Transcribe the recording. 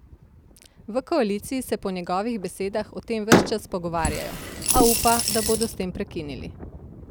V koaliciji se po njegovih besedah o tem ves čas pogovarjajo, a upa, da bodo s tem prekinili.